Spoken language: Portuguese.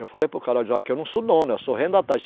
Eu falei para o cara, daqui eu não sou dono, eu sou arrendatário.